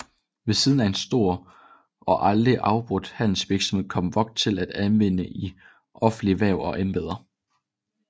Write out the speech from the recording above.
Ved siden af en stor og aldrig afbrudt handelsvirksomhed kom Vogt til at anvendes i offentlige hverv og embeder